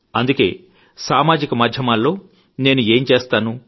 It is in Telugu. అందుకే సామాజిక మాధ్యమాల్లో నేను ఏం చేస్తానో